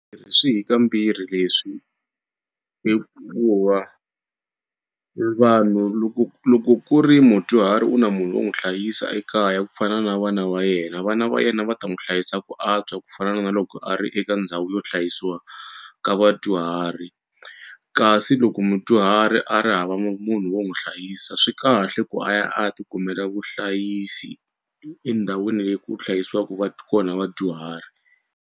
swi hi kambirhi leswi hikuva i vanhu loko loko ku ri mudyuhari u na munhu wo n'wi hlayisa ekaya ku fana na vana va yena vana va yena va ta n'wi hlayisa ku antswa ku fana na loko a ri eka ndhawu yo hlayisiwa ka vadyuhari kasi loko mudyuhari a ri hava munhu wo n'wi hlayisa swi kahle ku a ya a ya tikumela vuhlayisi endhawini leyi ku hlayisiwaka kona vadyuhari.